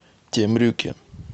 темрюке